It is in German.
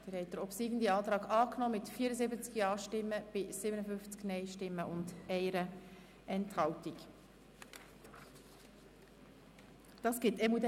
Sie haben Artikel 181 Absatz 2 mit 74 Ja- gegen 57 Nein-Stimmen bei 1 Enthaltung zugestimmt.